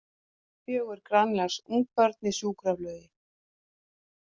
Fjögur grænlensk ungbörn í sjúkraflugi